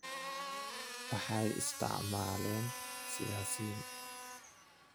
Waxay isticmaaleen siyaasiyiin."